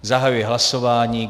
Zahajuji hlasování.